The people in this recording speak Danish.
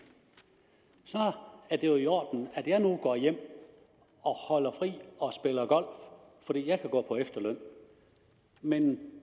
er det i orden at jeg nu gå hjem og holder fri og spiller golf for jeg kan gå på efterløn men